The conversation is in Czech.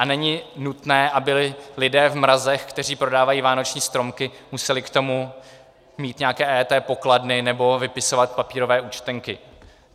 A není nutné, aby lidé v mrazech, kteří prodávají vánoční stromky, museli k tomu mít nějaké EET pokladny nebo vypisovat papírové účtenky.